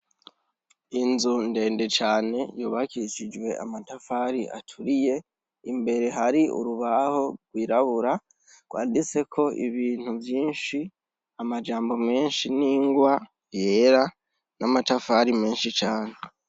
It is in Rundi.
Inzu ndende cane yubakishijwe amatafari aturiye, imbere hari urubaho rwirabura rwanditseko ibintu vyinshi, amajambo menshi n'ingwa yera, n'amatafari menshi cane.